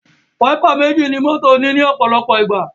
Wáípà méjì ní mọ́tò ní òpòlopò ìgbà